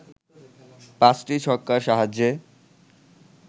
পাঁচটি ছক্কার সাহায্যে